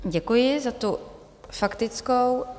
Děkuji za tu faktickou.